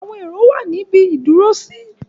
Àwọn èrò wà ní ibi ìdúrósí.